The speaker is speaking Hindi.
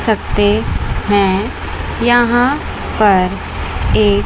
सकते हैं यहां पर एक--